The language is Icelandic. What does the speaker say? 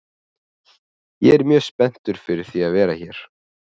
Ég er mjög spenntur fyrir því að vera hér.